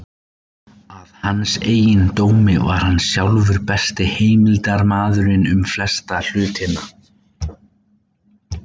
Að hans eigin dómi var hann sjálfur besti heimildarmaðurinn um flesta hluti.